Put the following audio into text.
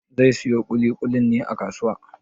Zai siyo ƙuli-ƙulin a kasuwa?